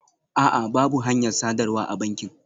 A'a, babu hanyar sadarwa a bankin